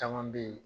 Caman bɛ yen